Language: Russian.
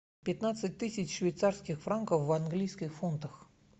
пятнадцать тысяч швейцарских франков в английских фунтах